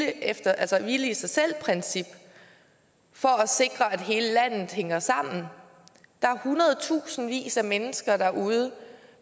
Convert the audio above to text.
efter hvile i sig selv princippet for at sikre at hele landet hænger sammen der er hundredtusindvis af mennesker derude